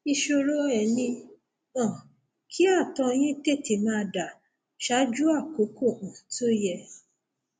ìṣòro um ẹ ni um kí ààtọ yín tètè máa dà ṣáájú àkókò um tó yẹ